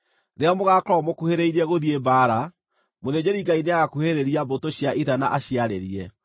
Rĩrĩa mũgaakorwo mũkuhĩrĩirie gũthiĩ mbaara, mũthĩnjĩri-Ngai nĩagakuhĩrĩria mbũtũ cia ita na aciarĩrie.